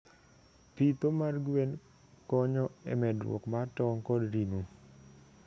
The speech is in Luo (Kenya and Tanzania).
Pidho gwen konyo emedruok mar tong kod ring'o.